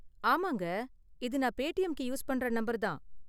ஆமாங்க, இது நான் பேடிஎம்க்கு யூஸ் பண்ற நம்பர் தான்.